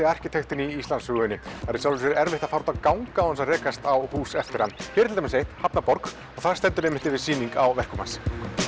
arkitektinn í Íslandssögunni það er í sjálfu sér erfitt að fara út að ganga án þess að rekast á hús eftir hann hér er til dæmis eitt hafnarborg og þar stendur einmitt yfir sýning á verkum hans